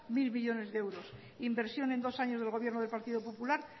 mil millónes de euros inversión en dos años del gobierno del partido popular